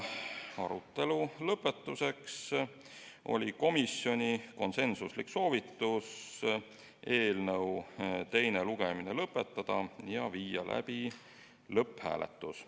Arutelu lõpetuseks oli komisjoni konsensuslik soovitus eelnõu teine lugemine lõpetada ja viia läbi lõpphääletus.